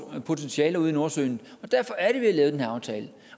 potentiale ude i nordsøen og derfor er det at den her aftale